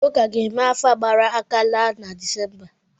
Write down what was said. Ụka ga-eme afa gbara aka laa na Disemba.